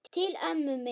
Til ömmu minnar.